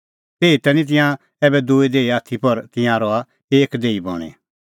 तैही निं तिंयां ऐबै दूई देही आथी पर तिंयां रहा एक देही बणीं